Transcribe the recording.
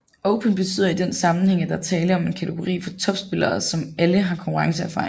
Open betyder i denne sammenhæng at her er tale om en kategori for top spillere som alle har konkurrenceerfaring